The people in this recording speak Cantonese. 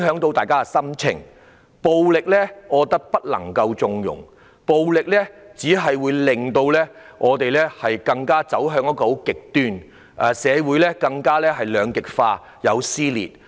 暴力絕對不能縱容，暴力只會令我們走向極端，令社會更加兩極化和撕裂。